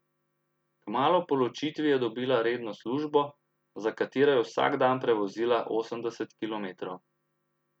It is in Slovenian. Kmalu po ločitvi je dobila redno službo, za katero je vsak dan prevozila osemdeset kilometrov.